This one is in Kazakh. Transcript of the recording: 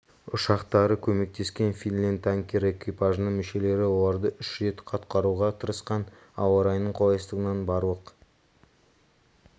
ұшақтары көмектескен финленд танкері экипажының мүшелері оларды үш рет құтқаруға тырысқан ауа райының қолайсыздығынан барлық